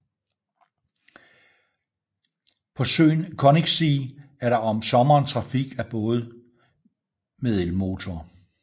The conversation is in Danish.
På søen Königssee er der om sommeren trafik af både med elmotor